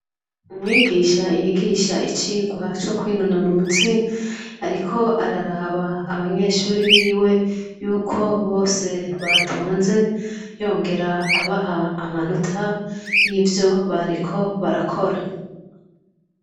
Umwigisha yigisha icirwa co kwinonora umutsi, ariko araraba abanyeshuri biwe yuko bose batonze yongera abaha amanota y'ivyo bariko barakora.